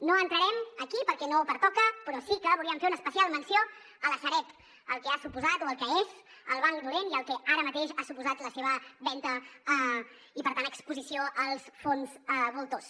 no entrarem aquí perquè no pertoca però sí que volíem fer una especial menció de la sareb del que ha suposat o del que és el banc dolent i del que ara mateix ha suposat la seva venda i per tant exposició als fons voltors